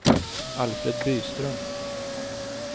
Alfred Byström